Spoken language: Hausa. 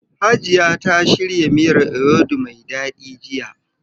Hajiya ta shirya miyar ewedu mai daɗi jiya.